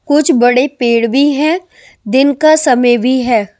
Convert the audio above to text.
कुछ बड़े पेड़ भी हैं दिन का समय भी है ।